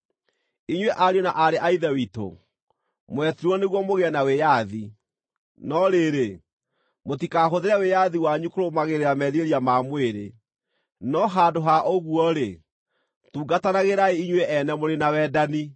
Inyuĩ ariũ na aarĩ a Ithe witũ, mwetirwo nĩguo mũgĩe na wĩyathi. No rĩrĩ, mũtikahũthĩre wĩyathi wanyu kũrũmagĩrĩra merirĩria ma mwĩrĩ, no handũ ha ũguo-rĩ, tungatanagĩrai inyuĩ-ene mũrĩ na wendani.